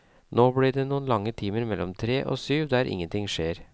Nå blir det noen lange timer mellom tre og syv der ingenting skjer.